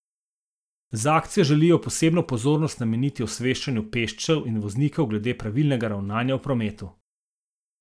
Z akcijo želijo posebno pozornost nameniti osveščanju pešcev in voznikov glede pravilnega ravnanja v prometu.